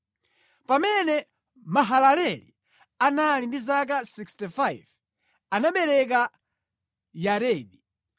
Pamene Mahalaleli anali ndi zaka 65, anabereka Yaredi.